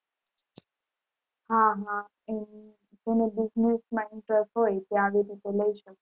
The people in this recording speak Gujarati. હા હા એમ જેને business માં interest હોય તે આવી રીતે લઈ શકે.